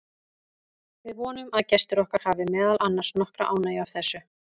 Við vonum að gestir okkar hafi meðal annars nokkra ánægju af þessu.